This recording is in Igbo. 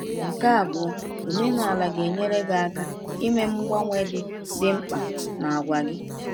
Nke abụọ, omenala ga-enyere gị aka ime mgbanwe dị dị mkpa n’àgwà gị.